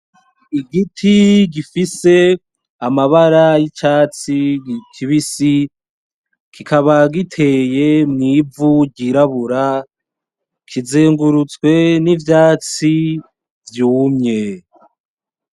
Igiti gifise amabara y'icatsi kibisi. Kikaba giteye mw'ivu ryirabura kizengurutswe n'ivyatsi vyumye.